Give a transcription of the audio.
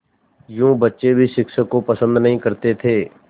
यूँ बच्चे भी शिक्षक को पसंद नहीं करते थे